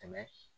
Tɛmɛ